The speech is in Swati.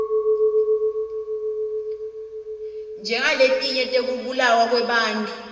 njengaleti tekubulawa kwebantfu